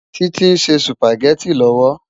Titi nsé súpágètí lòwó